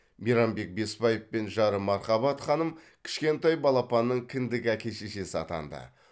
мейрамбек беспаев пен жары мархабат ханым кішкентай балапанның кіндік әке шешесі атанды